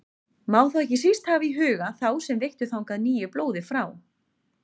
Má þá ekki síst hafa í huga þá sem veittu þangað nýju blóði frá